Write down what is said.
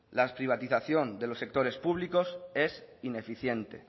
la privatización de los sectores públicos es ineficiente